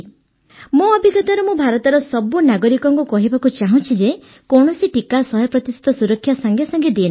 ମୋ ଅଭିଜ୍ଞତାରୁ ମୁଁ ଭାରତର ସବୁ ନାଗରିକଙ୍କୁ କହିବାକୁ ଚାହୁଁଛି ଯେ କୌଣସି ଟିକା ୧୦୦ ପ୍ରତିଶତ ସୁରକ୍ଷା ସାଂଗେସାଂଗେ ଦିଏ ନାହିଁ